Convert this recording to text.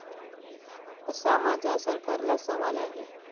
असा माझा सरकारला सवाल आहे.